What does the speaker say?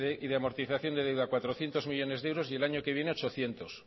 y de amortización de deuda cuatrocientos millónes de euros y el año que viene ochocientos